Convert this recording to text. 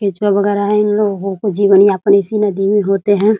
केचुआ वगेरा है इन लोगो को जीवन यापन इसी नदी में होते है।